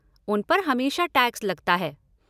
उन पर हमेशा टैक्स लगता है।